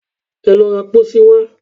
Ẹ lọ ra pósí wá